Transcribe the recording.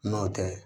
N'o tɛ